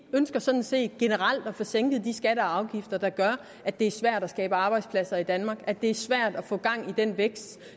ønsker sådan set generelt at få sænket de skatter og afgifter der gør at det er svært at skabe arbejdspladser i danmark at det er svært at få gang i den vækst